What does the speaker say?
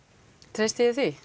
treysti ég því